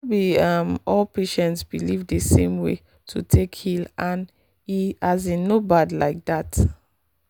no be um all patients believe the same way to take heal and e um no bad like that.